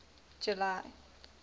july